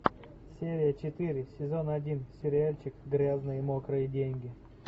серия четыре сезон один сериальчик грязные мокрые деньги